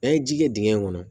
N'an ye ji kɛ dingɛ kɔnɔ